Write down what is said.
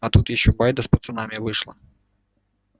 а тут ещё байда с пацанами вышла